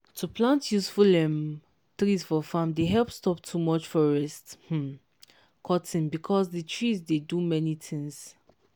to plant useful um trees for farm dey help stop too much forest um cutting because the trees dey do many things.